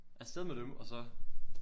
Afsted med dem og så